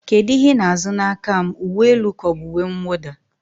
kedu ihe ị na-azụ n'aka m, uwe elu ka ọ bụ uwe mwụda?